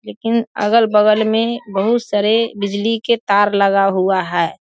लेकिन अगल-बगल में बोहुत सारे बिजली के तार लगा हुआ है।